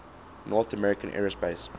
north american aerospace